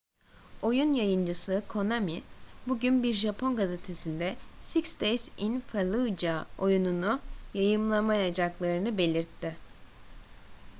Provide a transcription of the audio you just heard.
oyun yayıncısı konami bugün bir japon gazetesinde six days in fallujah oyununu yayınlamayacaklarını belirtti